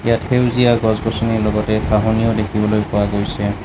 ইয়াত সেউজীয়া গছ-গছনি লগতে ঘাঁহনিও দেখিবলৈ পোৱা গৈছে।